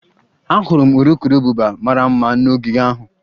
Ahụrụ m urukurubụba mara mma n'ogige ahụ